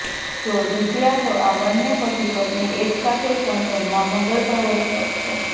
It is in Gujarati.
જો જીત્યા તો આ બંને પતિ પત્ની એકસાથે સંસદમાં મંગળ પ્રવેશ કરશે